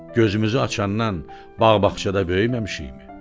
Gözümüzü açandan bağ-bağçada böyüməmişikmi?